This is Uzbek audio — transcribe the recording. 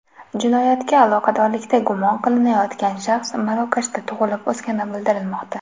Jinoyatga aloqadorlikda gumon qilinayotgan shaxs Marokashda tug‘ilib-o‘sgani bildirilmoqda.